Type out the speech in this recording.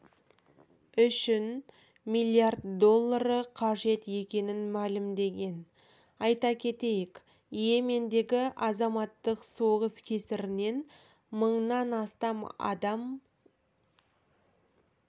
үшін миллиард доллары қажет екенін мәлімдеген айта кетейік йемендегі азаматтық соғыс кесірінен мыңнан астам адам